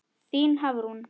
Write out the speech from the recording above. Þín Hafrún.